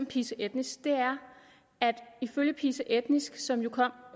pisa etnisk er at ifølge pisa etnisk som kom